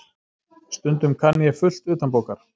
Stundum kann ég fullt utanbókar.